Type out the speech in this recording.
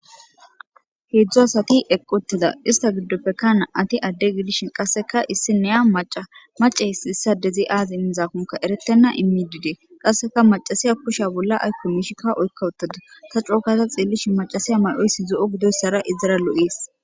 heedzdzu asati eqqi uteda ista giddopekka na'ati adde gidishin qasseka issi neya maca mace issi issa dezi aazi immizaakonka erettenna immi didee qasseka macasiya kushe bolla aykko miishikka oykka uttada ta cookata xeellishi macasiya mayoysi zo'o gidoyssara izara lo'ees